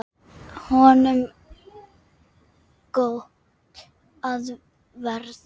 Honum gott af verði.